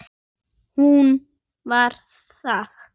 Hún var það.